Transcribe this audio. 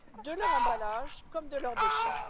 de leurs emballages comme de leurs déchets.